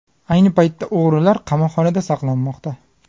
Ayni paytda o‘g‘rilar qamoqxonada saqlanmoqda.